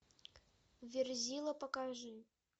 верзила покажи